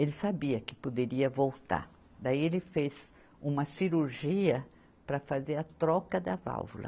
Ele sabia que poderia voltar, daí ele fez uma cirurgia para fazer a troca da válvula.